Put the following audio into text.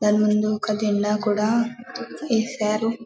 దాని ముందు ఒక జెండా కూడా వేసారు --